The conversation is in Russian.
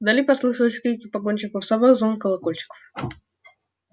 вдали послышались крики погонщиков собак звон колокольчиков